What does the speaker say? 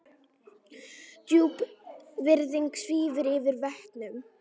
Djúp virðing svífur yfir vötnum.